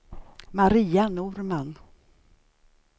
Maria Norman